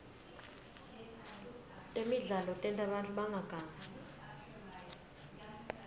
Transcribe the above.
temidlalo tenta bantfu bangagangi